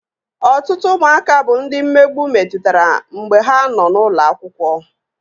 Ọtụtụ ụmụaka bụ ndị mmegbu metụtara mgbe ha nọ n'ụlọ akwụkwọ